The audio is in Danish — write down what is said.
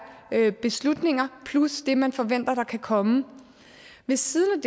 der er beslutninger plus det man forventer der kan komme ved siden